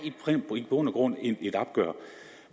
i bund og grund et opgør